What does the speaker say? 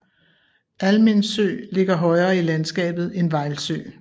Almindsø ligger højere i landskabet end Vejlsø